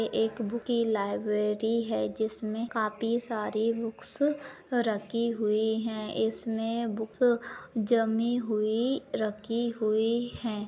एक बूक की लायब्ररी है। जिसे काफी सारे बुक्स रखी हुए है इसमे बूक्स जमी हुए रखे हुए है।